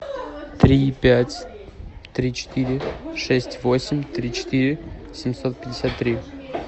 три пять три четыре шесть восемь три четыре семьсот пятьдесят три